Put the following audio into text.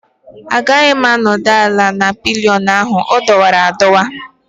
Agaghị m anọdụ ala na pillion ahụ, ọ dọwara adọwa